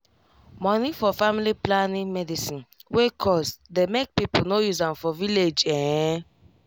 money for family planning medicine wey cost dey make people no use am for village ehn